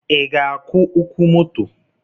I ga-akwụ ụkwụ moto?